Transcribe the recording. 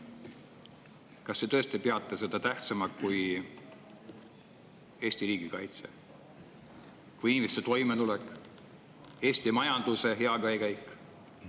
Kas te tõesti peate seda tähtsamaks kui Eesti riigi kaitse, inimeste toimetulek ja Eesti majanduse hea käekäik?